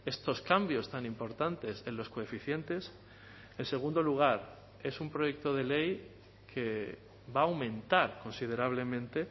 estos cambios tan importantes en los coeficientes en segundo lugar es un proyecto de ley que va a aumentar considerablemente